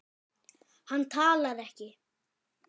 Hann talar ekki.